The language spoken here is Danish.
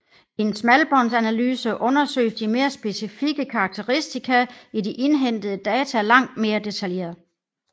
I en smalbåndsanalyse undersøges de mere specifikke karakteristika i de indhentede data langt mere detaljeret